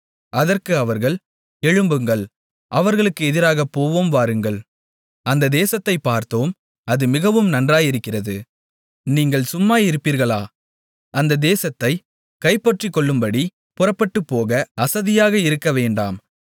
அதற்கு அவர்கள் எழும்புங்கள் அவர்களுக்கு எதிராகப் போவோம் வாருங்கள் அந்த தேசத்தைப் பார்த்தோம் அது மிகவும் நன்றாயிருக்கிறது நீங்கள் சும்மாயிருப்பீர்களா அந்த தேசத்தைச் கைப்பற்றிக்கொள்ளும்படி புறப்பட்டுப்போக அசதியாக இருக்கவேண்டாம்